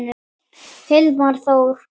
Hilmar Þór.